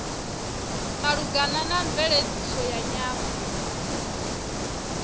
malugana na mveledziso ya nyambo